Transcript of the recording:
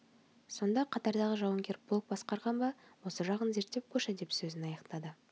сонда қатардағы жауынгер полк басқарған ба осы жағын зерттеп көрші деп сөзін аяқтады